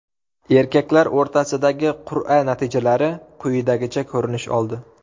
Erkaklar o‘rtasidagi qur’a natijalari quyidagicha ko‘rinish oldi.